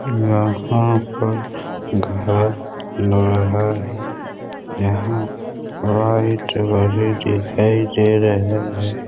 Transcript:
यहाँ पर घर लग रहा है यहाँ पर दिखाई दे रहे हैं।